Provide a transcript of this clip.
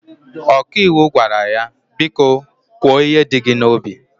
ọkàiwu gwara ya, biko kwo ihe di gi na obi